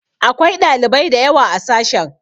Akwai ɗalibai da yawa a sashen.